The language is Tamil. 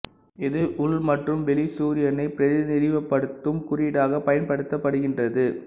இது உள் மற்றும் வெளி சூரியனை பிரதிநிதித்துவப்படுத்தும் குறியீடாக பயன்படுத்தப்படுகின்றது